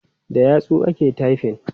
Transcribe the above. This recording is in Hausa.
Da yatsu ake taifin.